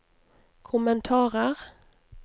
kommentarer